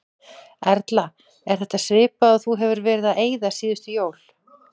Erla: Er þetta svipað og þú hefur verið að eyða síðustu jól?